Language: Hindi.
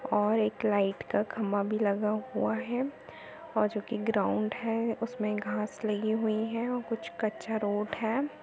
और एक लाइट का खम्बा भी लगा हुआ है और जोकि ग्राउंड है उसमे घास लगी हुईं है और कुछ कच्चा रोड है।